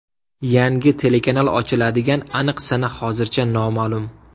Yangi telekanal ochiladigan aniq sana hozircha noma’lum.